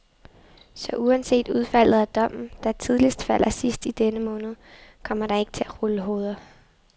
Så uanset udfaldet af dommen, der tidligst falder sidst i denne måned, kommer der ikke til at rulle hoveder.